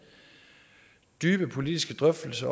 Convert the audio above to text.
dybe politiske drøftelse